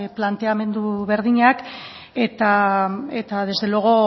planteamendu berdinak eta desde luego